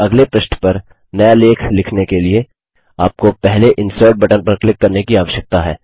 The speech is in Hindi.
अब अगले पृष्ठ पर नया लेख लिखने के लिए आपको पहले इंसर्ट बटन पर क्लिक करने की आवश्यकता है